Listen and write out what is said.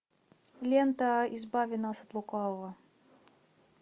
лента избави нас от лукавого